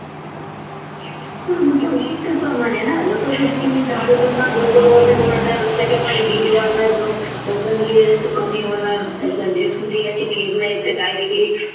जसं जसं तुम्ही झाडे तोडणार त्याच्यामुळे heat वाढणार कमी होणार अशा जे सूर्याचे किरण आहे ते